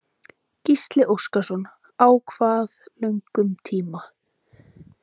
Gísli Óskarsson: Á hvað löngum tíma?